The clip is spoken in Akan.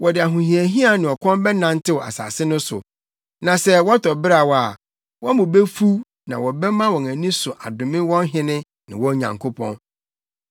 Wɔde ahohiahia ne ɔkɔm bɛnantenantew asase no so; na sɛ wɔtɔ beraw a, wɔn bo befuw na wɔbɛma wɔn ani so adome wɔn hene ne wɔn Nyankopɔn.